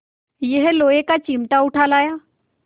यह लोहे का चिमटा उठा लाया